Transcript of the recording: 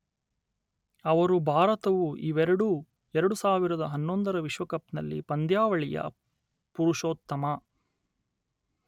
ಅವರು ಭಾರತವು ಇವೆರಡೂ ಎರಡು ಸಾವಿರದ ಹನ್ನೊಂದರ ವಿಶ್ವಕಪ್ ನಲ್ಲಿ ಪಂದ್ಯಾವಳಿಯ ಪುರುಷೋತ್ತಮ